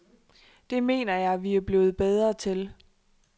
Det mener jeg, vi er blevet bedre til.